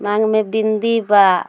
मांग में बिंदी बा।